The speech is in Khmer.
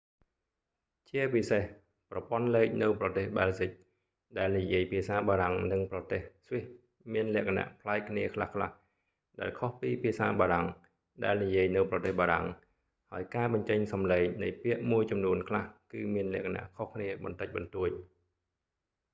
ជាពិសេស ប្រព័ន្ធលេខនៅប្រទេស បែលហ្ស៊ិក ដែលនិយាយភាសាបារាំង និងប្រទេស ស្វីសមានលក្ខណៈប្លែកគ្នាខ្លះៗ ដែលខុសពីភាសាបារាំង ដែលនិយាយនៅប្រទេសបារាំង ហើយការបញ្ចេញសំឡេងនៃពាក្យមួយចំនួនខ្លះ គឺមានលក្ខណៈខុសគ្នាបន្តិចបន្តួច